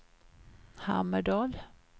Hammerdal